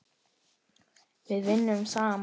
Við vinnum saman.